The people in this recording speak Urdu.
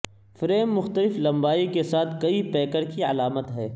فریم مختلف لمبائی کے ساتھ کئی پیکر کی علامت ہے